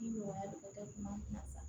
Ni nɔgɔya bɛ kɛ ɲuman kan sisan